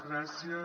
gràcies